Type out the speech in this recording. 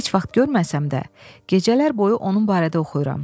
Heç vaxt görməsəm də, gecələr boyu onun barədə oxuyuram.